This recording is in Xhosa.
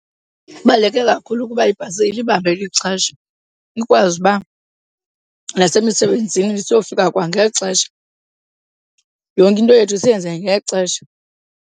Ibaluleke kakhulu ukuba ibhasi ilibambe ixesha ikwazi uba nasemisebenzini siyofika kwangexesha, yonke into yethu siyenze ngexesha.